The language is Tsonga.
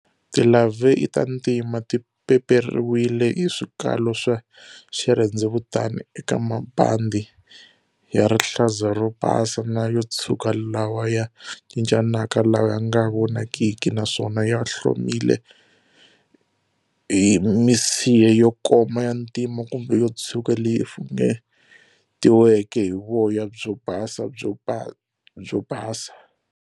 Ti larvae i ta ntima, ti peperiwile hi swikalo swa xirhendzevutani eka mabandhi ya rihlaza ro basa na yotshuka lawa ya cincanaka lawa yanga vonakiki, naswona ya hlomile hi misiha yo koma ya ntima kumbe yotshuka leyi funengetiweke hi voya byo basa byo basa.